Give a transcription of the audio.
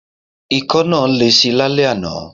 Ikọ́ náà lesi lálẹ́ àná.